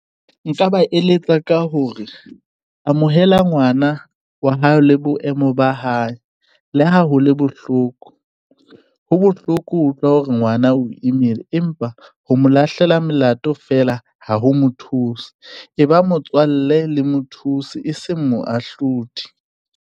Nka ba eletsa ka hore amohela ngwana wa hao la boemo ba hae. Le ha hole bohloko, ho bohloko ho utlwa hore ngwana o imile empa ho mo lahlela melato fela. Ha ho mothusi e ba motswalle le mothusi e seng moahlodi.